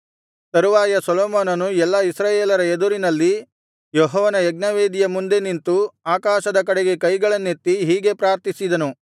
ತರುವಾಯ ಸೊಲೊಮೋನನು ಎಲ್ಲಾ ಇಸ್ರಾಯೇಲರ ಎದುರಿನಲ್ಲಿ ಯೆಹೋವನ ಯಜ್ಞವೇದಿಯ ಮುಂದೆ ನಿಂತು ಆಕಾಶದ ಕಡೆಗೆ ಕೈಗಳನ್ನೆತ್ತಿ ಹೀಗೆ ಪ್ರಾರ್ಥಿಸಿದನು